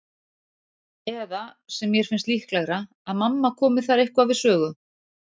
Eða, sem mér finnst líklegra, að mamma komi þar eitthvað við sögu.